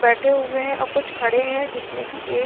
बैठे हुवे हैं और कुछ खड़े हैं जिसमे की एक --